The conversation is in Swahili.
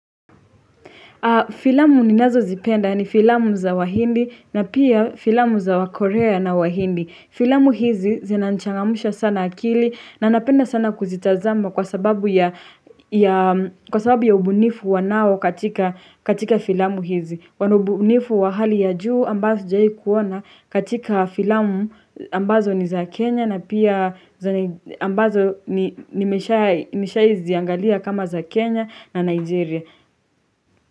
Filamu ninazo zipenda ni filamu za wahindi na pia filamu za wakorea na wahindi. Filamu hizi zinanichangamsha sana akili na napenda sana kuzitazama kwa sababu ya ubunifu wanao katika filamu hizi. Kwa ubunifu wa hali ya juu ambazo sijai kuona katika filamu ambazo ni za Kenya na pia ambazo nimeshawahi ziangalia kama za Kenya na Nigeria.